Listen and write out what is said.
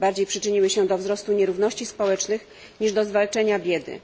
Bardziej przyczyniły się do wzrostu nierówności społecznych niż do zwalczenia biedy.